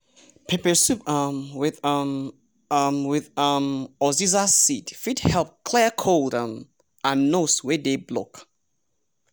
pepper soup um with um um with um uziza seed fit help clear cold um and nose wey dey block.